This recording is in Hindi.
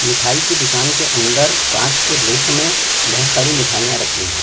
मिठाई के दुकान के अंदर कांच के रेक मै बहुत सारी मिठाईया रखी है।